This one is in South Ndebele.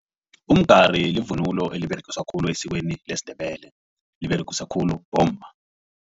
Umgari livunulo eliberegiswa khulu esikweni lesiNdebele liberegiswa khulu bomma.